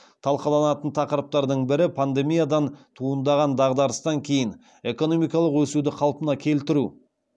талқыланатын тақырыптардың бірі пандемиядан туындаған дағдарыстан кейін экономикалық өсуді қалпына келтіру